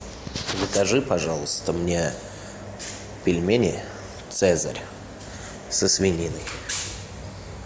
закажи пожалуйста мне пельмени цезарь со свининой